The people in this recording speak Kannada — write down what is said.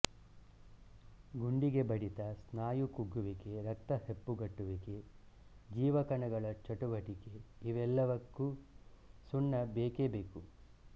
ಗುಂಡಿಗೆ ಬಡಿತ ಸ್ನಾಯು ಕುಗ್ಗುವಿಕೆ ರಕ್ತ ಹೆಪ್ಪುಗಟ್ಟುವಿಕೆ ಜೀವಕಣಗಳ ಚಟುವಟಿಕೆಇವಲ್ಲಕ್ಕೂ ಸುಣ್ಣ ಬೇಕೇಬೇಕು